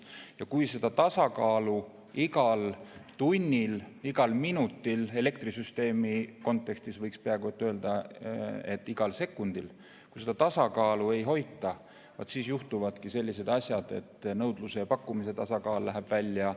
Ja kui seda tasakaalu igal tunnil, igal minutil, elektrisüsteemi kontekstis võiks peaaegu öelda, et igal sekundil ei hoita, siis juhtuvadki sellised asjad, et nõudluse ja pakkumise tasakaal kaob ära.